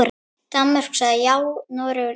Danmörk sagði já, Noregur nei.